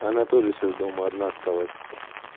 она тоже сейчас дома одна осталась